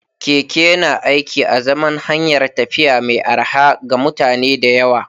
Keke yana aiki a zaman hanyar tafiya mai arha ga mutane da yawa.